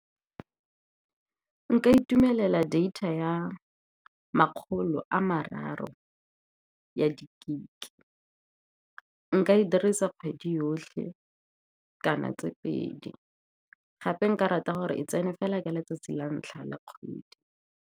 Nka itumelela data ya makgolo a mararo ya di-gig-e. Nka e dirisa kgwedi yotlhe kgotsa le tse pedi. Gape nka rata gore e tsene fela ka letsatsi la ntlha la kgwedi.